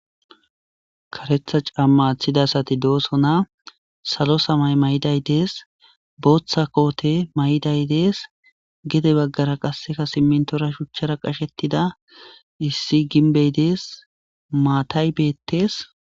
karetha camma athida sati doosona salo samay may7iday dees booththa koote may7day dees gede baggara qasseka simintora shuchchara qashettida issi ginbey dees maatay beettees